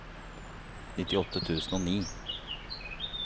nittiåtte tusen og ni